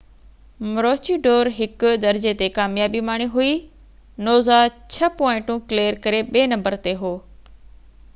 مروچي ڊور 1 درجي تي ڪاميابي ماڻي هئي نوزا 6 پوائنٽون ڪليئر ڪري ٻي نمبر تي هو